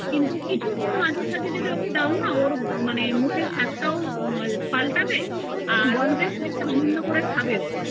কিছু তুমি ওকে মাঝে সাজে দাও না ওর মানে মুখের স্বাদ তাও পাল্টাবে আর ওর ভালো ও লাগবে